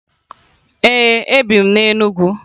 Ee, ebi m na Enugu